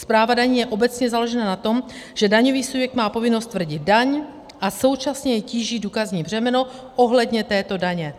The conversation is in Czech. Správa daní je obecně založena na tom, že daňový subjekt má povinnost stvrdit daň a současně jej tíží důkazní břemeno ohledně této daně.